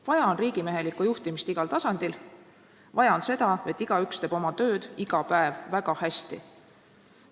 Vaja on riigimehelikku juhtimist igal tasandil, vaja on seda, et igaüks teeb oma tööd iga päev väga hästi.